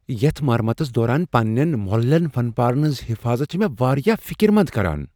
یتھ مرمتس دوران پنین مۄللین فن پارن ہنز حفاضت چھِ مے٘ وارِیاہ فِكر مند كران ۔